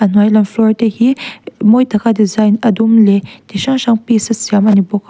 a hnuai lam floor te hi mawi taka design a dum leh chi hrang hrang piece a siam ani bawk a.